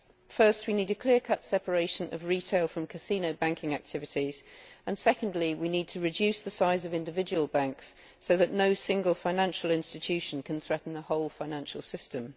First we need a clear cut separation of retail from casino banking activities, and secondly we need to reduce the size of individual banks so that no single financial institution can threaten the whole financial system.